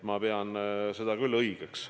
Ma pean seda küll õigeks.